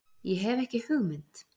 Ég hef ekki hugmynd.